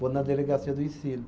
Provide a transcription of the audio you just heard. Vou na delegacia do ensino.